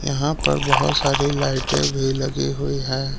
यहां पर बहुत सारी लाइटें भी लगी हुई हैं।